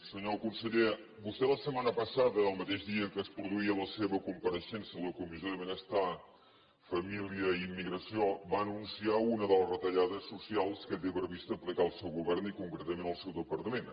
senyor conseller vostè la setmana passada el mateix dia que es produïa la seva compareixença a la comissió de benestar família i immigració va anunciar una de les retallades socials que té previst aplicar el seu govern i concretament el seu departament